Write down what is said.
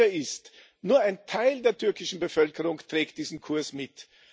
Sicher ist Nur ein Teil der türkischen Bevölkerung trägt diesen Kurs mit.